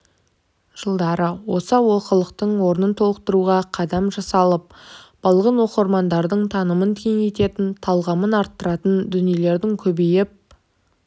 жылдары осы олқылықтың орнын толтыруға қадам жасалып балғын оқырмандардың танымын кеңейтетін талғамын арттыратын дүниелердің көбейіп